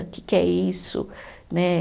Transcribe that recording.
O que que é isso? Né